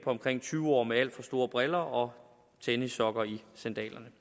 omkring tyve år med alt for store briller og tennissokker i sandalerne